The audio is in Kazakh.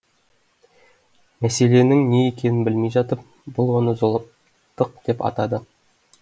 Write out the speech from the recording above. мәселенің не екенін білмей жатып бұл оны зұлымдық деп атады